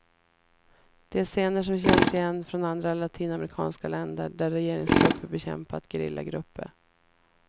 Det är scener som känns igen från andra latinamerikanska länder där regeringstrupper bekämpat gerillagrupper.